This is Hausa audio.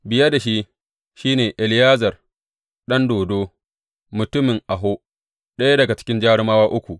Biye da shi, shi ne Eleyazar ɗan Dodo mutumin Aho, ɗaya daga cikin jarumawa uku.